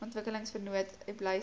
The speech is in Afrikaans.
ontwikkelingsvennote bly saamwerk